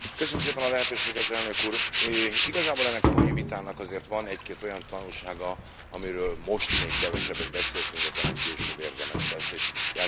Igazából ennek a mai vitának azért van egy két olyan tanulsága, amiről most még kevesebbet beszéltünk, de talán később érdemes lesz, és itt elsősorban a Bizottsághoz szeretnék fordulni.